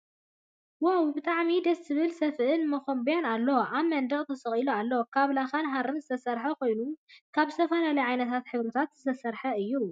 ዋው ብጣዕሚ ደስ ዝብል ሰፍእን መኮንበያን ኣሎ ኣብ መንደቅ ተሰቂሉ ኣሎ ።ካብ ላካ ሃርን ዝተሰረሐን ኮይነኑ ካብ ዝተፈላለየ ዓይነታት ሕብርታት ዝተሰረሐ እዩ።